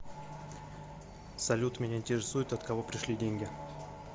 салют меня интересует от кого пришли деньги